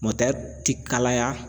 ti kalaya